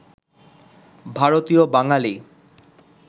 ভারতীয় বাঙালি